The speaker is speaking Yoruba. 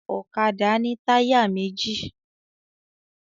Ọ̀kadà ni táyà méjì